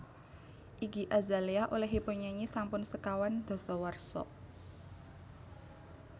Iggy Azalea olehipun nyanyi sampun sekawan dasawarsa